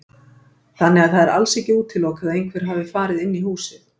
Þannig að það er alls ekki útilokað að einhver hafi farið inn í húsið.